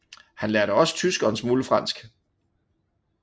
Han lærte også tysk og en smule fransk